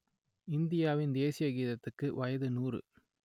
இந்தியாவின் தேசிய கீதத்துக்கு வயது நூறு